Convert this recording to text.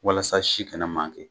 Walasa si kana manke